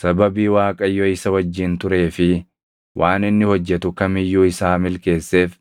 Sababii Waaqayyo isa wajjin turee fi waan inni hojjetu kam iyyuu isaa milkeesseef